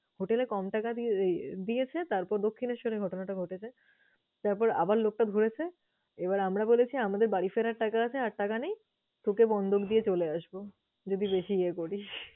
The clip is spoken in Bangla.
Hotel এ কম টাকা দিয়ে দিয়েছে। তারপর দক্ষিণেশ্বরে ঘটনাটা ঘটেছে। তারপর আবার লোকটা ধরেছে এবার আমরা বলেছি আমাদের বাড়ি ফেরার টাকা আছে, আর টাকা নেই। তোকে বন্ধক দিয়ে চলে আসবো যদি বেশি ইয়ে করিস।